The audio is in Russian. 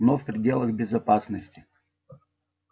но в пределах безопасности